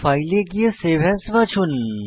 file এ গিয়ে save as বাছুন